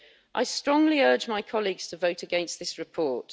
I strongly urge my colleagues to vote against this report.